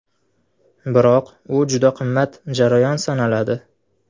Biroq u juda qimmat jarayon sanaladi.